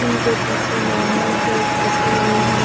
इनके पीछे normal chairs रखे हुए हैं।